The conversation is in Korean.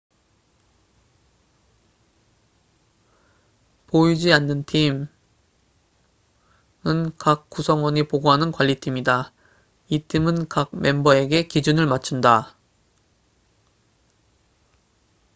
"""보이지 않는 팀""은 각 구성원이 보고하는 관리팀이다. 이 팀은 각 멤버에게 기준을 맞춘다.